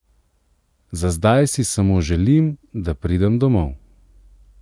Za zdaj si samo želim, da pridem domov.